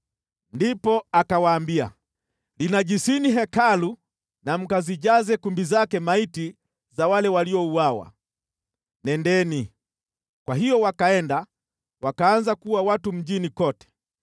Ndipo akawaambia, “Linajisini Hekalu na mkazijaze kumbi zake maiti za wale waliouawa. Nendeni!” Kwa hiyo wakaenda wakaanza kuua watu mjini kote.